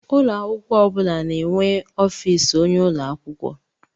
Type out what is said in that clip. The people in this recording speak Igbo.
Ụlọ akwụkwọ ọ bụla na-enwe ọfịs onyeisi ụlọ akwụkwọ.